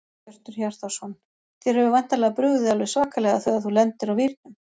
Hjörtur Hjartarson: Þér hefur væntanlega brugðið alveg svakalega þegar þú lendir á vírnum?